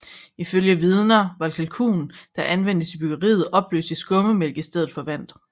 Ifølge vidner var kalken der anvendtes I byggeriet opløst i skummetmælk i stedet for vand